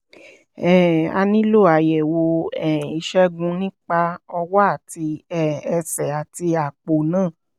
um a nílò àyẹ̀wò um ìṣègùn nípa ọwọ́ àti um ẹsẹ̀ àti àpò náà